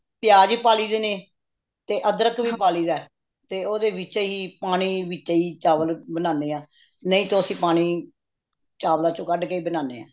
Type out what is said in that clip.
ਪਿਆਜ ਵੀ ਪਾ ਲਈ ਦੇ ਨੇ ਤੇ ਅਦ੍ਰਖ ਵੀ ਪਾ ਲਈ ਦੇ ਤੇ ਓਹਦੇ ਵਿਚੇਹੀ ਪਾਣੀ ਵਿਚੇਹੀ ਚਾਵਲ ਬਣਾਨੇ ਹਾ ਨਹੀਂ ਤੋਹ ਅੱਸੀ ਪਾਣੀ ਚਾਵਲਾ ਵਿੱਚੋ ਕੱਢ ਕੇ ਹੀ ਬਣਾਨੇ ਹਾਂ